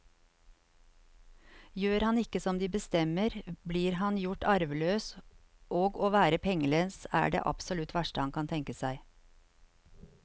Gjør han ikke som de bestemmer, blir han gjort arveløs, og å være pengelens er det absolutt verste han kan tenke seg.